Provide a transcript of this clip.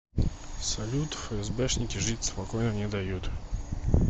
салют фээсбэшники жить спокойно не дают